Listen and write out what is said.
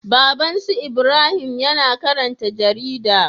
Babban su Ibrahim yAna karanta jarida